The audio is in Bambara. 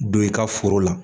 Don i ka foro la.